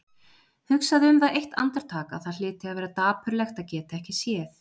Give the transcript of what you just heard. Hugsaði um það eitt andartak að það hlyti að vera dapurlegt að geta ekki séð.